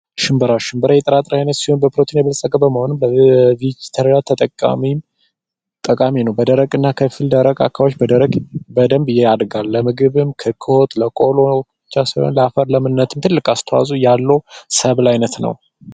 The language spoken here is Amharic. ሽንብራ ሽንብራ የጥራጥሬ አይነት ሲሆን በፕሮቲን የበለፀገ በመሆኑ በጣም ጠቃሚ ነው በደረቅ አካባቢዎች በደንብ ያድጋል ለምግብም ለወጥ ለቆሎ ለአፈርም ለእምነት አስተዋጽኦ ያለው የሰብል ዓይነት ነው።